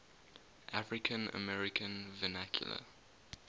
african american vernacular